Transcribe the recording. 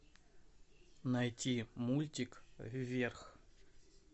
найти мультик вверх